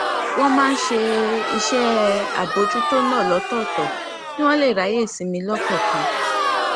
wón máa ń ṣe iṣé àbójútó náà lótòòtò kí wón lè ráyè sinmi lọkòòkan